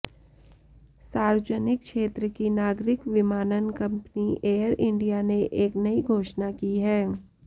सार्वजनिक क्षेत्र की नागरिक विमानन कंपनी एयर इंडिया ने एक नई घोषणा की है